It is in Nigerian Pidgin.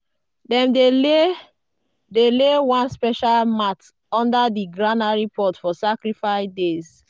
dem dey lay dey lay one special mat under di granary pot for sacrifice days.